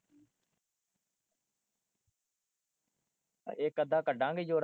ਇੱਕ ਅੱਧਾ ਕਢਾਗੇ ਜੋੜਾ।